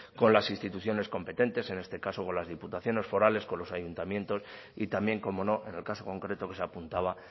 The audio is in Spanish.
con las instituciones competentes en este caso con las diputaciones forales con los ayuntamientos y también cómo no en el caso concreto que se apuntaba